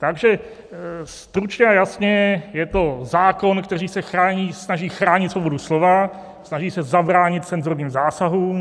Takže stručně a jasně, je to zákon, který se snaží chránit svobodu slova, snaží se zabránit cenzurním zásahům.